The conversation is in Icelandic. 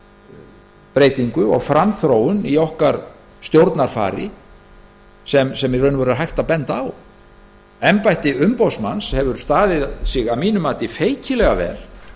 velheppnaða breytingu og framþróun í stjórnarfari okkar sem hægt er að benda á embætti umboðsmanns hefur staðið sig feikilega vel